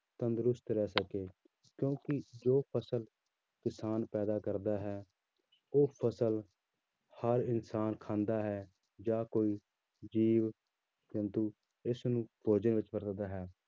ਤੰਦਰੁਸਤ ਰਹਿ ਸਕੇ ਕਿਉਂਕਿ ਜੋ ਫ਼ਸਲ ਕਿਸਾਨ ਪੈਦਾ ਕਰਦਾ ਹੈ ਉਹ ਫ਼ਸਲ ਹਰ ਇਨਸਾਨ ਖਾਂਦਾ ਹੈ ਜਾਂ ਕੋਈ ਜੀਵ ਜੰਤੂ ਇਸਨੂੰ ਭੋਜਨ ਵਿੱਚ ਵਰਤਦਦਾ ਹੈ